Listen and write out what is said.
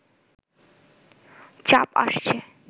চাপ আসছে